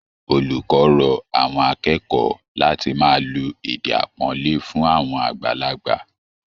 Olùkọ rọ àwọn akẹ́kẹ̀ẹ́ láti máa lo èdè àpọ́nlé fún àwọn àgbàlagbà